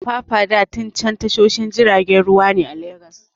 Apapa da Tin Can tashoshin jiragen ruwa ne a Legas.